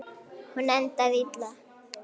Hún endaði illa.